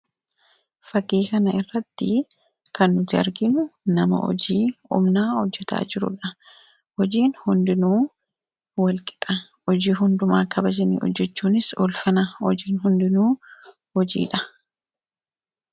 fagii kana irratti kannujarginu nama hojii umnaa hojjetaa jirudha hojiin hundinuu wal qixa hojii hundumaa kabajanii hojjechuunis ulfana hojiin hundinuu hojiidha